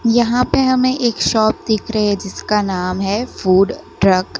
यहां पे हमें एक शॉप दिख रहे हैं जिसका नाम है फूड ट्रक ।